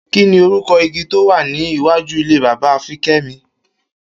Kí ni orúko̩ igi tó wà ní iwájú ilé bàbá Fiké̩mi?